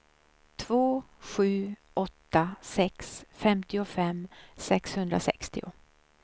två sju åtta sex femtiofem sexhundrasextio